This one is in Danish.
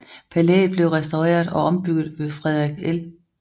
Palæet blev restaureret og ombygget ved Frederik L